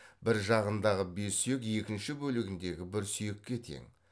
бір жағындағы бес сүйек екінші бөлігіндегі бір сүйекке тең